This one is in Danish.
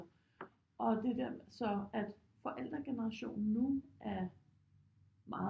Og det der så at forældregenerationen nu er meget